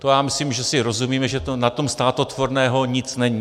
To já myslím, že si rozumíme, že na tom státotvorného nic není.